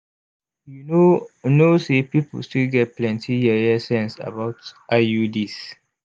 you know know say people still get plenty yeye sense about iuds